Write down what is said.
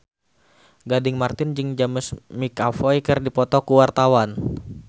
Gading Marten jeung James McAvoy keur dipoto ku wartawan